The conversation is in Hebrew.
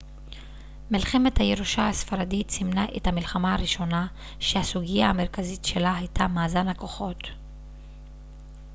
מלחמת הירושה הספרדית סימנה את המלחמה הראשונה שהסוגיה המרכזית שלה הייתה מאזן הכוחות